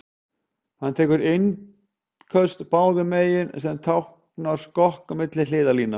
Hann tekur innköst báðum megin, sem táknar skokk milli hliðarlína.